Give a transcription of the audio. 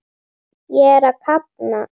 Ég er að kafna.